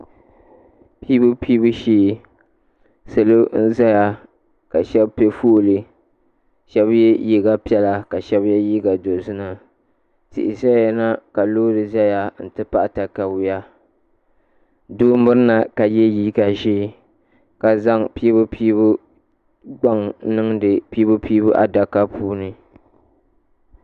Piibupiibu shee, salɔʒaya ka shebi pɛ fɔɔli. shebi ye liiga piɛla ka shebi ye liiga dozim a. tihi ʒɛya na kalɔɔri ʒɛya n ti pahi taka yuya. doo mirina ka yeliiga ʒɛɛ ka zaŋ piibupiibu gban n zaŋ niŋdi piibupiibu adaka bililani